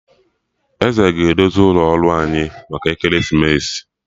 Eze ga- edozi ụlọ ọrụ anyị maka ekeresimesi